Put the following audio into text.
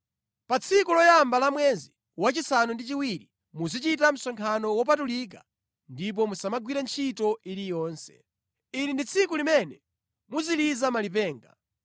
“ ‘Pa tsiku loyamba la mwezi wachisanu ndi chiwiri muzichita msonkhano wopatulika ndipo musamagwire ntchito iliyonse. Ili ndi tsiku limene muziliza malipenga.